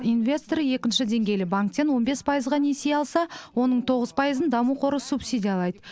инвестор екінші деңгейлі банктен он бес пайызға несие алса оның тоғыз пайызын даму қоры субсидиялайды